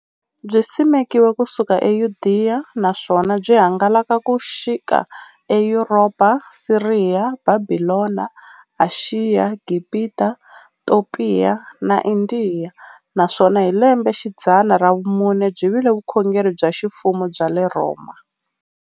Byisimekiwe ku suka eYudeya, naswona byi hangalake ku xika eYuropa, Siriya, Bhabhilona, Ashiya, Gibhita, Topiya na Indiya, naswona hi lembexidzana ra vumune byi vile vukhongeri bya ximfumo bya le Rhoma.